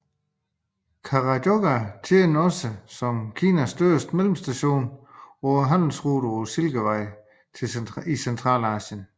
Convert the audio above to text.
Karakhoja tjente også som Kinas største mellemstation på handelsruten Silkevejen i Centralasien